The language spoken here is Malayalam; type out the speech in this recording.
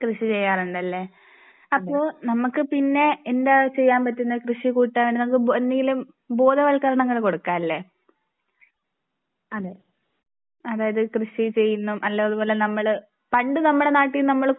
കൃഷി ചെയ്യാറുണ്ട് അല്ലേ അപ്പോൾ നമുക്ക് പിന്നെ എന്താ ചെയ്യാൻ പറ്റുന്ന കൃഷി കൂട്ടാൻ നമുക്ക് എന്തെങ്കിലും ബോധവൽക്കരണങ്ങൾ കൊടുക്കാൻ അല്ലേ. അതായത് കൃഷി ചെയ്യുന്നത് നല്ലതുപോലെ നമ്മൾ പണ്ട് നമ്മുടെ നാട്ടിൽ നമ്മൾ